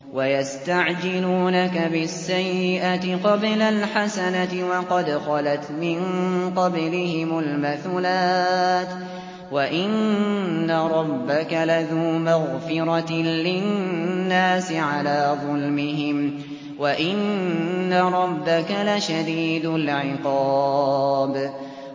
وَيَسْتَعْجِلُونَكَ بِالسَّيِّئَةِ قَبْلَ الْحَسَنَةِ وَقَدْ خَلَتْ مِن قَبْلِهِمُ الْمَثُلَاتُ ۗ وَإِنَّ رَبَّكَ لَذُو مَغْفِرَةٍ لِّلنَّاسِ عَلَىٰ ظُلْمِهِمْ ۖ وَإِنَّ رَبَّكَ لَشَدِيدُ الْعِقَابِ